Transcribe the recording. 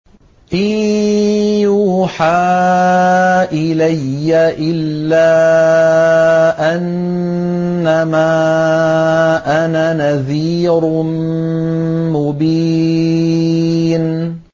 إِن يُوحَىٰ إِلَيَّ إِلَّا أَنَّمَا أَنَا نَذِيرٌ مُّبِينٌ